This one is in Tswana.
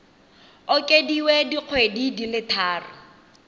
okediwe dikgwedi di le tharo